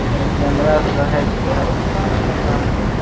लेकिन कैमरा से रहय छींके होअ एकरा में --